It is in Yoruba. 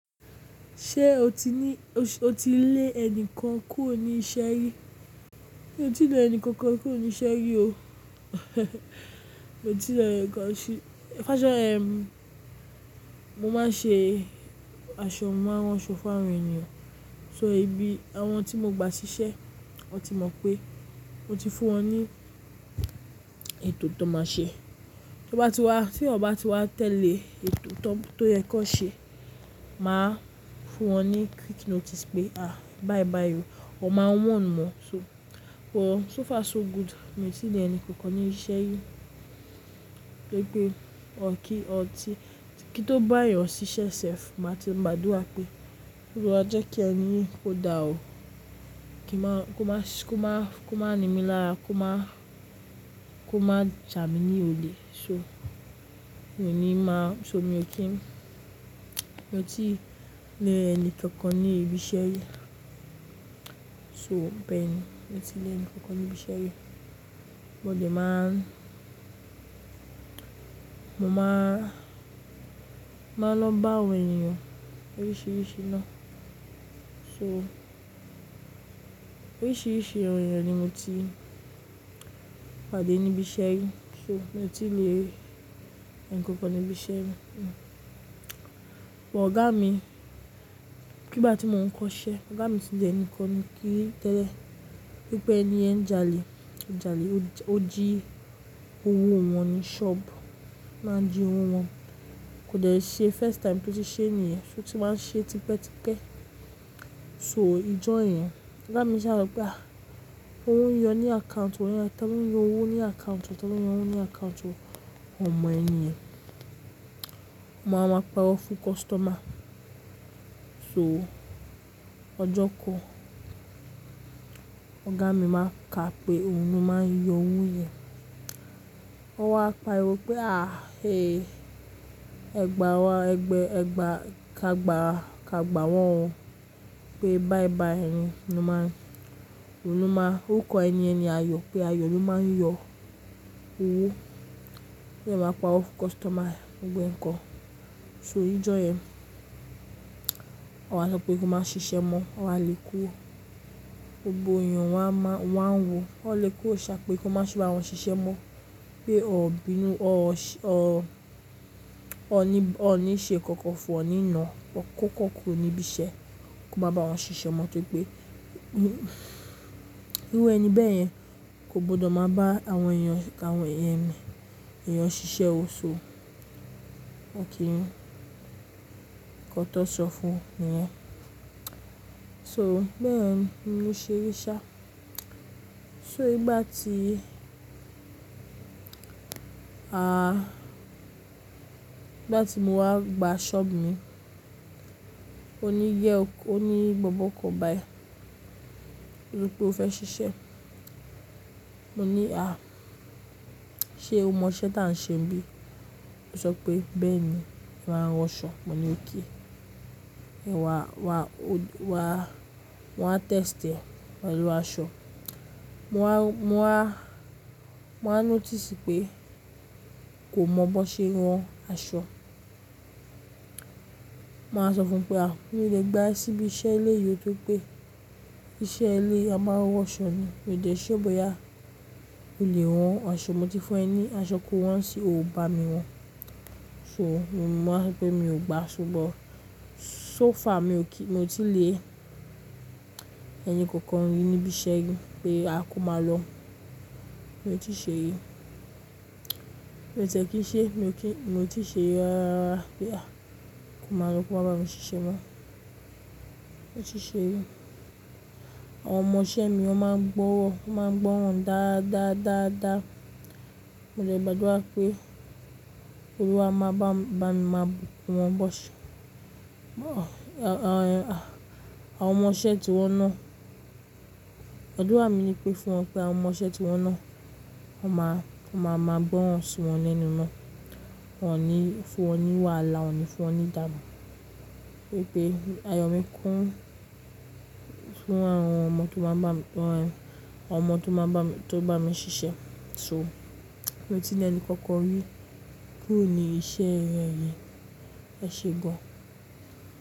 Ṣé o ti ní, o ti lé ẹni kan kúrò ní iṣẹ́ rí? Mi ò tíì lé ẹni kankan kúrò ní iṣẹ́ rí o. Mi ò tí lè ẹni kan ṣe-- fáṣẹ, ehn, mo máa ń ṣe aṣọ máa rán ṣọ́ fún àwọn ènìyàn. So, ibi àwọn tí mo gba ṣiṣẹ́, wọ́n ti mọ̀ pé mo ti fún wọn ní ètò tó máa ṣe. Tọ́n bá ti wá, tí wọ́n bá ti wá tẹ̀lé ètò tó, tó yẹ kó ṣe, màá fún wọn ní quick notice pé, "à, bye bye o." Wọn máa n warn wọ́n. So, o, so far so good, mi ò tí lè ẹni kankan oní iṣẹ́ rí. Torí pé, ọ̀ kín, ọ̀ ti, kí tó bá yà s'iṣẹ́ sẹ́f, màá ti ń gbàdúrà pé, "Olúwa jẹ́ kí ẹni yín kódà o, kí máa, kó máa, kó máa, kó máa nimí lára, kó máa, kó máa jà mí ní olè." So, èmi ni máa, so mi ò kí n, mi ò tí lè ẹni kankan ní ibi iṣẹ́ rí. So, bẹ́ẹ̀ ni, mi ò tí lè ẹni kankan ní ibi iṣẹ́ rí. Mo lè máa, mo máa, máa ń lọ bá àwọn ènìyàn oríṣiríṣi ná. So, oríṣiríṣi ènìyàn ni mo ti pàdé níbi iṣẹ́ rí. So, mi ò tí lè ẹni kankan ní ibi iṣẹ́ rí. But òògá mi, ní ìgbà tí mò ń kọ́ iṣẹ́, òògá mi ti lè ẹni kan rí tẹ́lẹ̀, wípé ẹni yẹn jalè, ń jalè ó jí owó wọn ní ṣọ́ọ̀bù, ó máa ń jí owó wọn. Kò dẹ́ ṣe first time tó ti ṣe é ni ẹ́, ó ti máa ń ṣe é tipẹ́tipẹ́. So, ijó yẹn, òògá mi ṣà sọ́ pé, à, ówo yọ ní àkáùntì, òun yẹn tán ló ń yọ owó ní àkáùntì, tán ló ń yọ owó ní àkáùntì, wọ́n mọ ẹni yẹn. Wọ́n á máa pa rọ́ fún kọ́sítọ́mà. So, ọjọ́ kan, òògá mi máa ń ka pé, òun ló máa ń yọ owó yẹn. Wọ́n wá pariwo wípé, à, eh, ẹgba wá, ẹgbẹ́, ẹgba, ka gba, ka gba wọ́n wọ́n pé, bai bai ẹni, inú máa ń, òun ló máa, óruko ẹni yẹn ni ayọ̀ pé, ayọ̀ ló máa ń yọ owó. Òde máa paro fún kọ́sítọ́mà níjó kan. So, ijó yẹn, wọ́n sọ pé, kó máa ṣiṣẹ́ mọ́. Wọn wa lè kúrò. Gbogbo ènìyàn wọ́n á máa, wọ́n á ń wò. Wọ́n lè kúrò ṣá pé, kó má ṣe bá wọn ṣiṣẹ́ mọ́. Pé ọ̀ bínú, ọ̀ ṣé, ọ̀, ọ̀ ní, ọ̀ ní ṣe kankan fún ọ̀ nínà. Kọ́ kàn kúrò níbi iṣẹ́, kó má bá wọn ṣiṣẹ́ mọ́ tó pé, n, irú ẹ́ni bẹ́ẹ̀ yẹn kò gbọdọ̀ máa bá àwọn ènìyàn, ká àwọn ènìyàn mi, ènìyàn ṣiṣẹ́ o. So, o kì í kọ́tọ́ sọ fún ènìyàn. So, bẹ́ẹ̀ ni mo ṣe rí i sá. So, ìgbà tí, à, ìgbà tí mo wá gba ṣọ́ọ̀bù mi, ó ní yẹ́ o kó, ó ní, "Bobo kò bá ẹ. Wí pé o fẹ́ ṣiṣẹ́." Mo ní, "À, ṣe o mọ iṣẹ́ táa ń ṣe níbí?" Ó sọ pé, "Bẹ́ẹ̀ ni, ìwà ránwọ́ ṣọ." Mo ní, "Oké." Ẹ̀ wá, wá, ó wá, wọ́n á tẹ́stì e pẹ̀lú aṣọ. Mo á, mo á, mo á notice pé, kò mọ bó ṣe ẹ́ rán aṣọ. Mo á sọ fún un pé, "À, mi ò lè gba ẹ síbi iṣẹ́ ilé yìí tó pé, iṣẹ́ ilé a máa ránwọ́ ṣọ ni. Mi ò dè ṣure bóyá olè rọn aṣọ mo ti fún ẹ ní aṣọ kó rán nísinyi o ò bá mi rán." So, mo máa sọ pé, mi ò gba ṣùgbọ́n so far mi ò kí, mi ò tí lè ẹni kankan rí níbi iṣẹ́ rí pé, a kò má lọ. Mi ò tí ṣe rí. Mi ò tẹ́ kí i ṣe, mi ò kí, mi ò tí ṣe rí rárá pé, à, kò mọ̀ lọ ko má bá mi ṣiṣẹ́ mọ́. Mi ò ṣe rí. Àwọn ọmọ-ìṣẹ́ mi wọ́n máa ń gbọ́rọ́, wọ́n máa ń gbọ́ràn dáadáa, dáadáa. Mo dẹ̀ gbàdúrà pé, Olúwa máa bá mi, bá mi máa bunkún wọn bó ṣe. Àwọn, àwọn ọmọ-ìṣẹ́ tí wọ́n ná. Àdúrà mi ní pé, fún wọn pé, àwọn ọmọ-ìṣẹ́ tí wọ́n ná, wọ́n máa, kí wọ́n máa mọ̀ gbọ́rọ̀ si wọn lẹ́nu ná. Wọn ò ní fún wọn ní wàhálà, wọn ò ní fún ọ ní dàgbà. Pé pé, ayọ̀ mi kún fún àwọn ọmọ tó bá ń bá mi, àwọn ọmọ tó bá ń bá mi, tó bá mi ṣiṣẹ́. So, mi ò tí lè ẹni kankan rí kú oní iṣẹ́ rẹ́ rẹ́, ẹ ṣe gan.